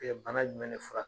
bana jumɛn de fura